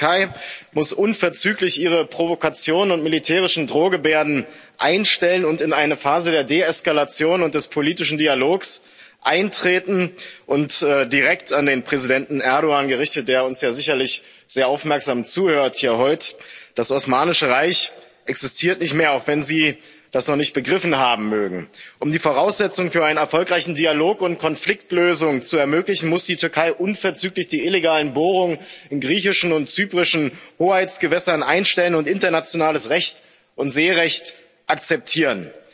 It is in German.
Die Türkei muss unverzüglich ihre Provokation und militärischen Drohgebärden einstellen und in eine Phase der Deeskalation und des politischen Dialogs eintreten. Und direkt an den Präsidenten Erdoğan gerichtet, der uns ja sicherlich sehr aufmerksam zuhört hier und heute Das Osmanische Reich existiert nicht mehr, auch wenn Sie das noch nicht begriffen haben mögen. Um die Voraussetzungen für einen erfolgreichen Dialog und Konfliktlösung zu ermöglichen, muss die Türkei unverzüglich die illegalen Bohrungen in griechischen und zyprischen Hoheitsgewässern einstellen und internationales Recht und Seerecht akzeptieren.